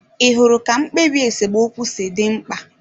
Ị hụrụ ka mkpebi esemokwu si dị mkpa?